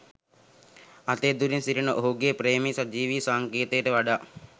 අතේ දුරින් සිටින ඔහුගේ ප්‍රේමයේ සජීවී සංකේතයට වඩා